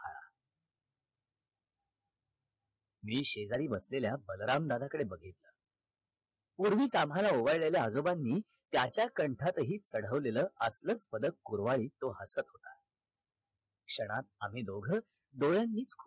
मी शेजारी बसलेल्या बलराम दादाकडे बघितल पूर्वीच आम्हाला ओवाळलेल्या आजोबांनी त्याच्या कंठातहि चढवलेला आपलाच पदक कुरवाळीत हसत होता क्षणात आम्ही दोघ डोळ्यांनी